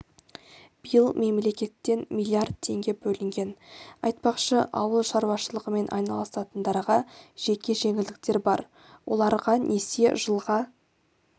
биыл мемлекеттен миллиард теңге бөлінген айтпақшы ауыл шаруашылығымен айналысатындарға жеке жеңілдіктер бар оларға несие жылға